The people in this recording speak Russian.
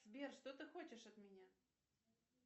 сбер что ты хочешь от меня